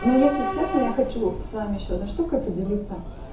ну если честно я хочу с вами ещё одной штукой поделиться